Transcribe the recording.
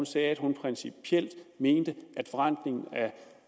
sagde at hun principielt mente at forrentningen af